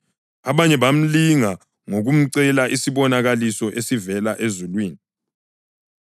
Abanye bamlinga ngokumcela isibonakaliso esivela ezulwini.